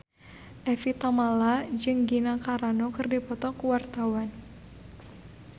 Evie Tamala jeung Gina Carano keur dipoto ku wartawan